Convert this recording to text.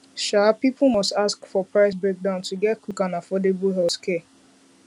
um people must ask um for price um breakdown to get quick and affordable healthcare